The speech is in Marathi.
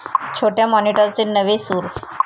छोट्या माॅनिटरचे नवे 'सूर'